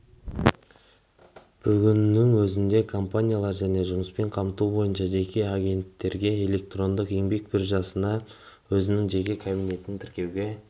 бүгіннің өзінде компаниялар және жұмыспен қамту бойынша жеке агенттіктерге электрондық еңбек биржасына өзінің жеке кабинетін тіркеуге